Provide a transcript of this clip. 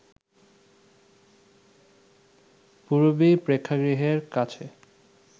পূরবী প্রেক্ষাগৃহের কাছে